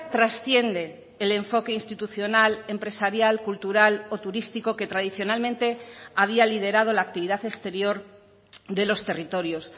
trasciende el enfoque institucional empresarial cultural o turístico que tradicionalmente había liderado la actividad exterior de los territorios